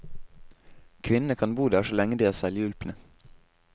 Kvinnene kan bo der så lenge de er selvhjulpne.